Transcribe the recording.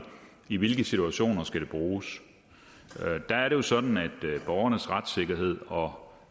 i hvilke situationer det skal bruges der er det jo sådan at borgernes retssikkerhed og